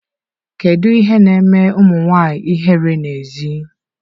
Kedu ihe na-eme ụmụ nwanyị ihere n'èzí?